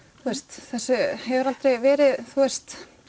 þessu hefur aldrei verið